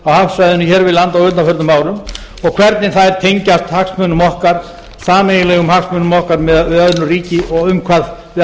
hafsvæðinu hér við land á undanförnum árum og hvernig þær tengjast sameiginlegum hagsmunum okkar miðað við önnur ríki og um hvað við